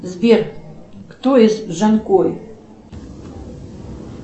сбер кто из джанкой